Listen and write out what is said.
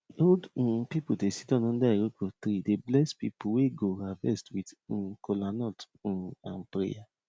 old um people dey siddan under iroko tree dey bless people wey go harvest with um kolanut um and prayer